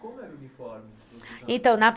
como era o uniforme? então, na